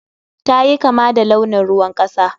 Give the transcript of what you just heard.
Ta yi kama da launin ruwan kasa.